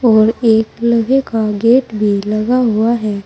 और एक लोहे का गेट भी लगा हुआ है।